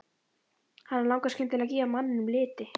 Hana langar skyndilega að gefa manninum liti.